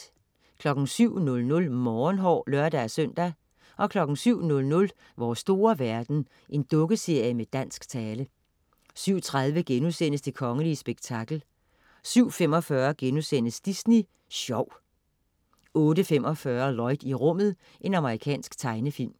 07.00 Morgenhår (lør-søn) 07.00 Vores store verden. Dukkeserie med dansk tale 07.30 Det kongelige spektakel* 07.45 Disney Sjov* 08.45 Lloyd i rummet. Amerikansk tegnefilm